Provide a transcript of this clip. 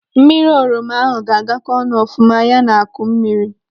Mmiri oroma ahụ ga-agakọ ọnụ ọfuma ya na akụ mmiri.